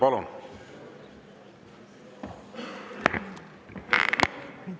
Palun!